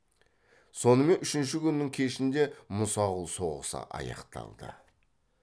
сонымен үшінші күннің кешінде мұсақұл соғысы аяқталды